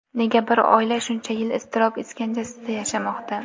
Nega bir oila shuncha yil iztirob iskanjasiga yashamoqda?